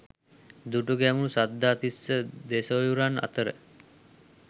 දුටුගැමුණු සද්ධාතිස්ස දෙසොහොයුරන් අතර